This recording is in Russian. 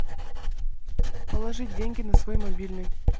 положить деньги на свой мобильный